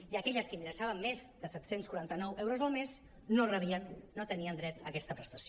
i aquelles que ingressaven més de set·cents quaran·ta·nou euros al mes no la rebien no tenien dret a aquesta prestació